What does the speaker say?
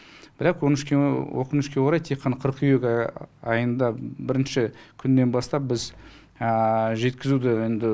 бірақ өкінішке орай тек қана қыркүйек айында бірінші күннен бастап біз жеткізуді енді